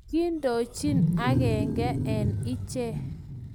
Kiindochin agenge eng iche